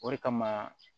O de kama